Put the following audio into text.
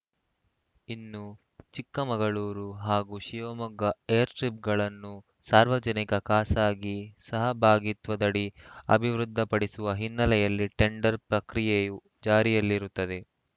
ಇನ್ನು ಚಿಕ್ಕಮಗಳೂರು ಹಾಗೂ ಶಿವಮೊಗ್ಗ ಏರ್‌ಸ್ಟ್ರಿಪ್‌ಗಳನ್ನು ಸಾರ್ವಜನಿಕ ಖಾಸಗಿ ಸಹಭಾಗಿತ್ವದಡಿ ಅಭಿವೃದ್ಧಿಪಡಿಸುವ ಹಿನ್ನೆಲೆಯಲ್ಲಿ ಟೆಂಡರ್‌ ಪ್ರಕ್ರಿಯೆಯು ಜಾರಿಯಲ್ಲಿರುತ್ತದೆ